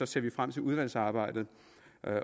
ser vi frem til udvalgsarbejdet